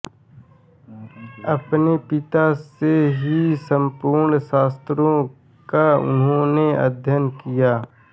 अपने पिता से ही संपूर्ण शास्त्रों का इन्होंने अध्ययन किया